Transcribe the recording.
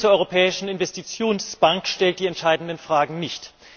Der Bericht zur Europäischen Investitionsbank stellt die entscheidenden Fragen nicht.